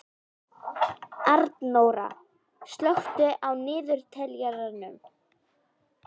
Arnóra, slökktu á niðurteljaranum.